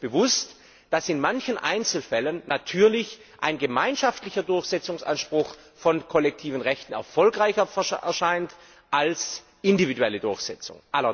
Es ist uns bewusst, dass in manchen Einzelfällen natürlich ein gemeinschaftlicher Durchsetzungsanspruch von kollektiven Rechten erfolgreicher erscheint als eine individuelle Durchsetzung.